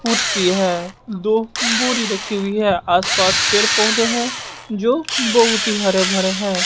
कुर्सी है दो बोरी रखी हुई है आसपास पेड़ पौधे हैं जो बहुत ही हरे भरे है।